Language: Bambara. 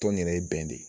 Tɔn in yɛrɛ ye bɛn de ye